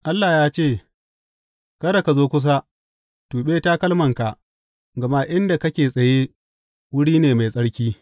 Allah ya ce, Kada ka zo kusa, tuɓe takalmanka, gama inda kake tsaye, wuri ne mai tsarki.